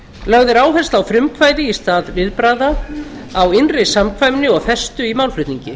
lögð er áhersla á frumkvæði í stað viðbragða á innri samkvæmni og festu í málflutningi